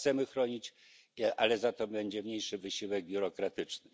Tak, chcemy chronić, ale za to będzie mniejszy wysiłek biurokratyczny.